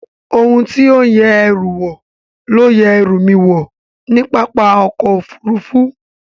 Ohun tí ó ń yẹ ẹrù wò ló yẹ ẹrú mi wò ní pápá ọkọ̀ Òfurufú